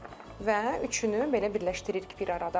Və üçünü belə birləşdiririk bir arada.